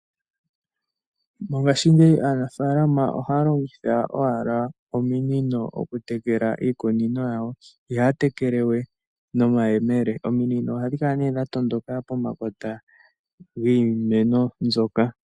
Mongashingeyi aanafaalama ohaya longitha owala ominino okutekela iikunino yawo, ihaya tekele we nomayemele. OMinino ohadhi kala nee dha tondoka pomakota giimeno mbyoka.